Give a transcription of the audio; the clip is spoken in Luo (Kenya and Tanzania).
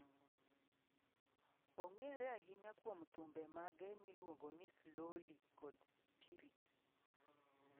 Ong'ere ahinya kuom thumbe mage miluongo ni 'Slowly' kod 'Spirit'.